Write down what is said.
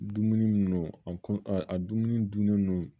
Dumuni mun non a kɔ a dumuni dunnen no